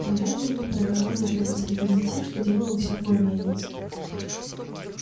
но бенджамин продолжал неотрывно следить за тем что делалось около мельницы